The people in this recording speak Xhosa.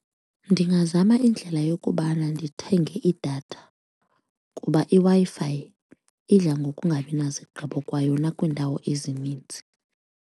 Ndingazama indlela yokubana ndithenge idatha kuba iWi-Fi idla ngokungabi nazigqibo kwayona kwiindawo ezininzi.